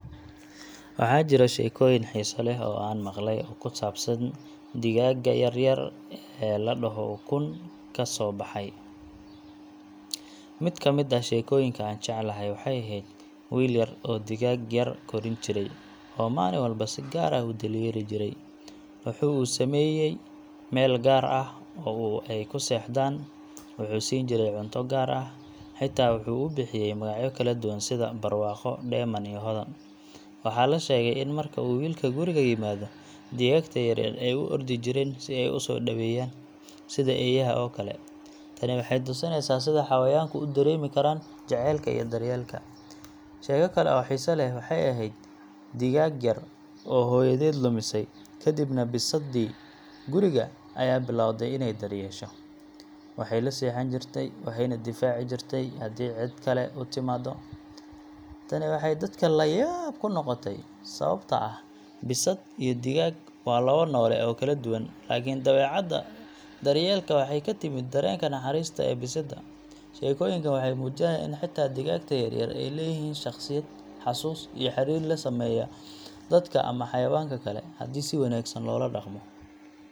Waxaa jira sheekooyin xiiso leh oo aan maqlay oo ku saabsan digaagga yar yar ee la dhaho ukun ka soo baxay. Mid ka mid ah sheekooyinka aan jeclahay waxay ahayd wiil yar oo digaag yar korin jiray, oo maalin walba si gaar ah u daryeeli jiray. Wuxuu u sameeyay meel gaar ah oo ay ku seexdaan, wuxuu siin jiray cunto gaar ah, xitaa wuxuu u bixiyay magacyo kala duwan sida Barwaaqo, Dheeman, iyo Hodan. Waxaa la sheegay in marka uu wiilka guriga yimaado, digaagta yaryar ay u ordi jireen si ay u soo dhaweeyaan, sida eeyaha oo kale. Tani waxay tusinaysaa sida xayawaanku u dareemi karaan jacaylka iyo daryeelka. Sheeko kale oo xiiso leh waxay ahayd digaag yar oo hooyadeed lumisay, kadibna bisadtii guriga ayaa bilowday inay daryeesho. Waxay la seexan jirtay, waxayna difaaci jirtay haddii cid kale u timaado. Tani waxay dadka la yaab ku noqotay, sababtoo ah bisad iyo digaag waa labo noole oo kala duwan, laakiin dabeecadda daryeelka waxay ka timid dareenka naxariista ee bisadda. Sheekooyinkan waxay muujinayaan in xitaa digaagta yar yar ay leeyihiin shakhsiyad, xusuus, iyo xiriir la sameeya dadka ama xayawaanka kale haddii si wanaagsan loola dhaqmo.